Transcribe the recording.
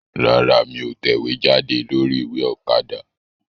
Rárá, mí ò tẹ̀wéjáde lórí ìwé Òkadà